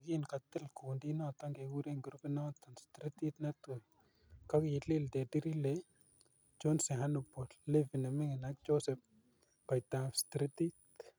Yekin kotil kundinoton kokuren grupinoton stritit netui kokiliil Teddy Riley, Chauncey Hannibal, Levi nemingin ak Josep Goitabstritit.